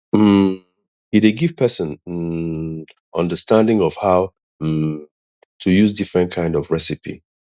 um e dey give person um understanding of how um to use different kind of recipe